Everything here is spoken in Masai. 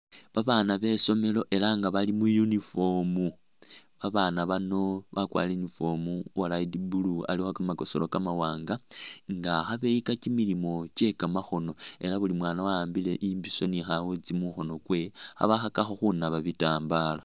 Babaana besomelo ela nga bali mu uniform, babaana bano bakwalire uniform uwa light blue alikho kamakosowa kamawaanga nga khabeyika kimilimo kyekamakhoono ela nga buli mwaana wawambile imbisho ni khawutsi mukhoono kwewe khabakhakakho khunaaba bitambala